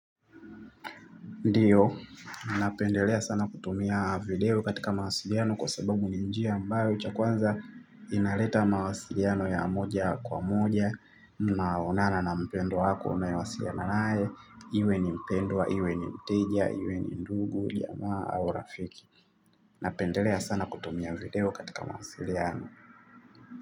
Ndio, napendelea sana kutumia video katika mawasiliano kwa sababu ni njia ambayo cha kwanza inaleta mawasiliano ya moja kwa moja unaonana na mpendwa wako unayewasiliana naye, iwe ni mpendwa, iwe ni mteja, iwe ni ndugu, jamaa au rafiki. Napendelea sana kutumia video katika mawasiliano.